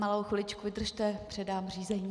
Malou chviličku vydržte, předám řízení.